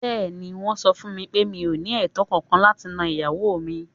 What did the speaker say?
Bẹ́ẹ̀ni, Wọ́n sọ fún mi pé mi ò ní ẹ̀tọ́ kànkan láti nan ìyàwó mi.